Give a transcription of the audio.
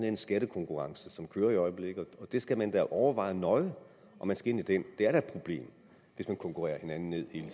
en skattekonkurrence som kører i øjeblikket og der skal man da overveje nøje om man skal ind i den det er da et problem hvis man konkurrerer hinanden ned hele